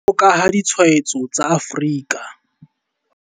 Jwalo ka ha ditshwaetso tsa Afrika